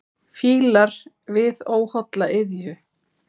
Fílar við óholla iðju.